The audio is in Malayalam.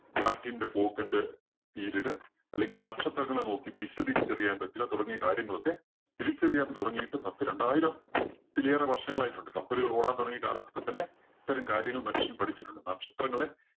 കാറ്റിന്റെ പോക്കിന്റെ period അല്ലെങ്കില്‍ നക്ഷത്രങ്ങളെ നോക്കി ദിശ തിരിച്ചറിയാന്‍ പറ്റുക തുടങ്ങിയ കാര്യങ്ങളൊക്കെ തിരിച്ചറിയാന്‍ തുടങ്ങിയിട്ട് പത്ത് രണ്ടായിരം~ത്തിലേറെ വര്‍ഷങ്ങളായിട്ടുണ്ട്. കപ്പലുകള്‍ ഓടാന്‍ തുടങ്ങിയ കാലഘട്ടത്തിൽതന്നെ ഇത്തരം കാര്യങ്ങള്‍ മനുഷ്യന്‍ പഠിച്ചിട്ടുണ്ട്. നക്ഷത്രങ്ങളെ